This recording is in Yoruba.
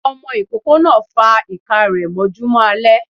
Ọmọ ikoko náá fa iká rẹ mọjúmọ alẹ